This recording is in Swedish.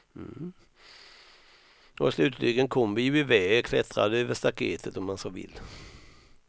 Och slutligen kom vi ju iväg, klättrade över staketet om man så vill.